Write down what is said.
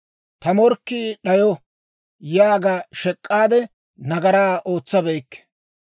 ‹Ta morkkii d'ayo› yaaga shek'k'aade, nagaraa ootsabeykke.